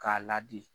K'a ladi